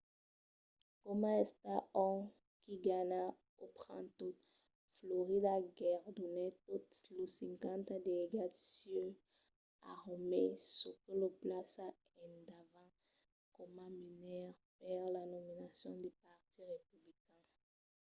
coma estat ont qui ganha o pren tot florida guerdonèt totes los cinquanta delegats sieus a romney çò que lo plaça endavant coma menaire per la nominacion del partit republican